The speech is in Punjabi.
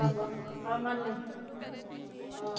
ਅਮ ਅਮਨ ਨੇ ਆਹ